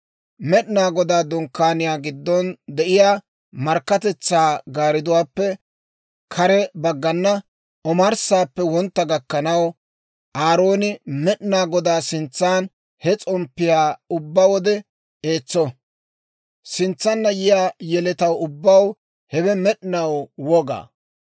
Med'inaa Godaa Dunkkaaniyaa giddon de'iyaa markkatetsaa gaariduwaappe kare baggana, omarssaappe wontta gakkanaw, Aarooni Med'inaa Godaa sintsan he s'omppiyaa ubbaa wode eetso. Sintsanna yiyaa yeletaw ubbaw hewe med'inaw woga.